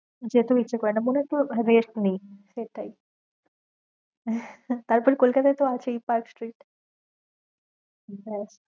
যেতেও ইচ্ছে করে না, মনেহয়ে পুরো rest নি, সেটাই তারপরে কলকতায়ে তো আছেই পার্ক স্ট্রীট।